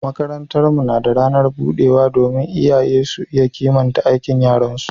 makarantar mu na ranar budewa domin iyaye su iya kimanta aikin yaran su